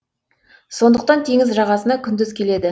сондықтан теңіз жағасына күндіз келеді